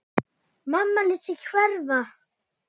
Mamma lét sig hverfa.